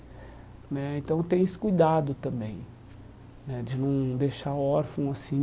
Né Então tem esse cuidado também né, de não deixar órfão assim,